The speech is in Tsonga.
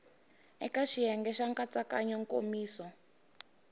eka xiyenge xa nkatsakanyo nkomiso